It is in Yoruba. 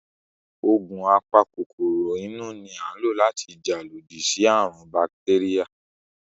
Ògùn a pa kòkòrò inú ni à ń lò láti jà lodí sí àrùn ún bakitéríà